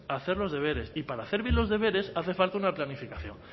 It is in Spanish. hacer los deberes y para hacer bien los deberes hace falta una planificación